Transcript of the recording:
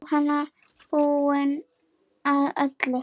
Jóhanna: Búinn að öllu?